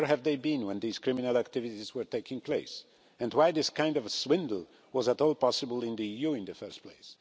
Where have they been when these criminal activities were taking place, and why was this kind of swindle at all possible in the EU in the first place?